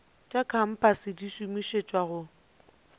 tša kompase di šomišetšwa go